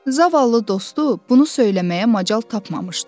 Zavallı dostu bunu söyləməyə macal tapmamışdı.